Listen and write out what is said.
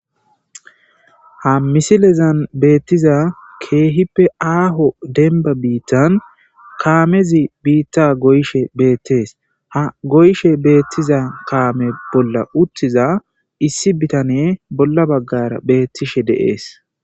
ha misilezan beettiza keehippe aaho denba biittan kaamezi biitta goyshe beettees ha goyshe beettiza kaame bolla uttiza issi bitane bolla baggara beettishe deees